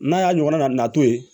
N'a y'a ɲɔgɔn nato ye